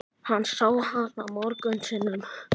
Hann sá hana mörgum sinnum.